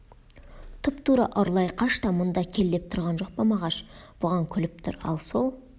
тұп-тура ұрлай қаш та мұнда кел деп тұрған жоқ па мағаш бұған күліп тұр ал сол